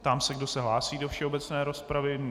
Ptám se, kdo se hlásí do všeobecné rozpravy.